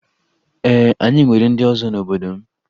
Ee, anyị nwere ndị ọzọ n'obodo m